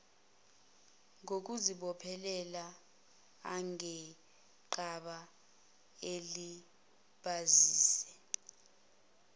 kokuzibophezela angenqaba alibazise